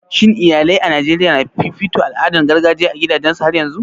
Shin iyalai a Najeriya na fifito al'adun gargajiya a gidajensu har yanzun?